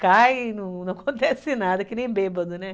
Cai e não acontece nada, é que nem bêbado, né?